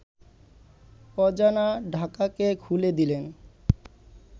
অজানা ঢাকাকে খুলে দিলেন